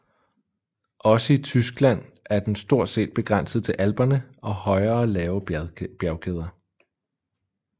Også i Tyskland er den stort set begrænset til Alperne og højere lave bjergkæder